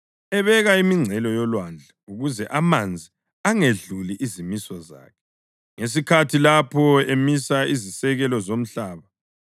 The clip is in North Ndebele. ebeka imingcele yolwandle ukuze amanzi angedluli izimiso zakhe, ngesikhathi lapho emisa izisekelo zomhlaba.